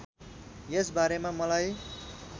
यस बारेमा मलाई